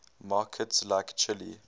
markets like chile